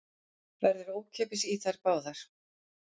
Verður ókeypis í þær báðar